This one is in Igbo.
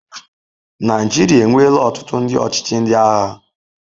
Naijiria enweela ọtụtụ ndị ọchịchị ndị agha.